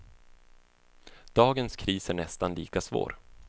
Dagens kris är nästan lika svår.